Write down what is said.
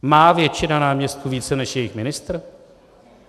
Má většina náměstků více než jejich ministr?